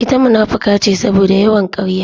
Ita munafuka ce saboda yawan karya